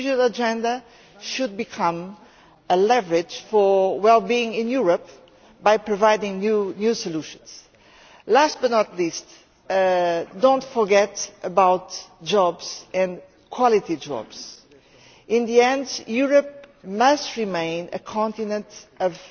The Digital Agenda should become a leverage for well being in Europe by providing new solutions. Last but not least, do not forget about jobs and quality jobs. In the end, Europe must remain a continent